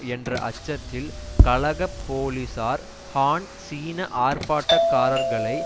என்ற அச்சத்தில் கலக போலீசார் ஹான் சீன ஆர்ப்பாட்டக்காரர்களை